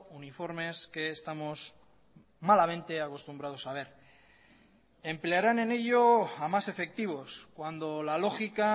uniformes que estamos malamente acostumbrados a ver emplearán en ello a más efectivos cuando la lógica